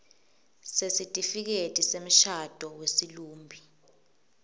sesitifiketi semshado wesilumbi